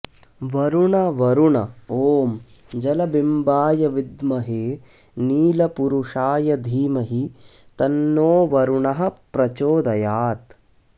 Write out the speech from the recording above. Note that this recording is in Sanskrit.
वरुण वरुण ॐ जलबिम्बाय विद्महे नीलपुरुषाय धीमहि तन्नो वरुणः प्रचोदयात्